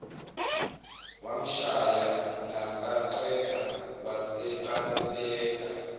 wamshaya nakaqeda wasebaleka